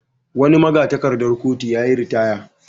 Wani maga-takardar kotu ya yi ritaya.